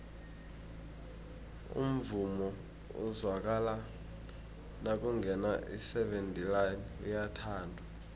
umvumo ozwakala nakungena iseven delaan uyathandwa